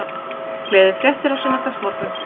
Gleðifréttir á sunnudagsmorgun